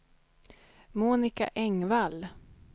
Monica Engvall